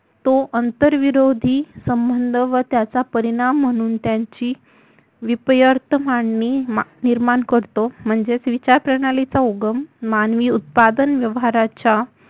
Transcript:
तो आंतरविरोधी संबंध व त्याचा परिणाम म्हणून त्यांची विपर्यत मांडणी निर्माण करतो म्हणजेच विचारप्रणालीचा उगम मानवी उत्पादन व्यवहाराच्या